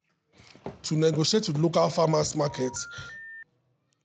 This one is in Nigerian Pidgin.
to negotiate with local farmers' market fit bring big discount for fresh produce wey dem buy.